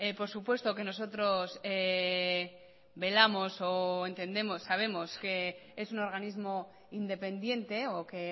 por supuesto que nosotros velamos o entendemos sabemos que es un organismo independiente o que